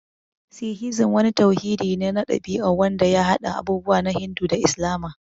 Sikhizim wani tauhidi ne na ɗabi'a wanda ya haɗa abubuwa na Hindu da Islama.